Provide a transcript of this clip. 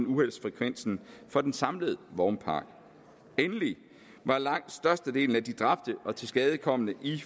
uheldsfrekvensen for den samlede vognpark endelig var langt størstedelen af de dræbte og tilskadekomne i